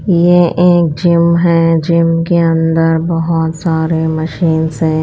ये एक जिम है। जिम के अंदर बहोत सारे मशीनस है।